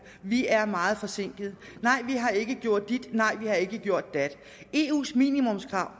vi er meget forsinket nej vi har ikke gjort dit nej vi har ikke gjort dat eus minimumskrav